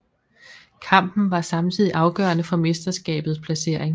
Kampen var samtidig afgørende for mesterskabets placering